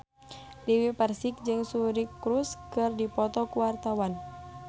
Dewi Persik jeung Suri Cruise keur dipoto ku wartawan